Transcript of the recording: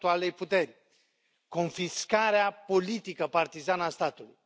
puteri, confiscarea politică partizană a statului.